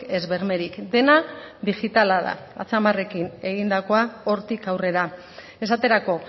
ez bermerik dena digitala da atzamarrekin egindakoa hortik aurrera esaterako